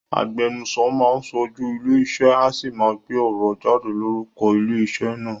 Agbenuso máán ṣojú ilé ìṣe, a sì máa gbé ọ̀rọ̀ jáde lórúko ilé ìṣe naa